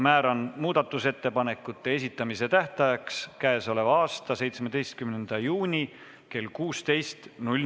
Määran muudatusettepanekute esitamise tähtajaks k.a 17. juuni kell 16.